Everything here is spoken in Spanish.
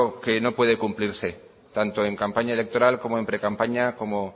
que no puede cumplirse tanto en campaña electoral como en precampaña como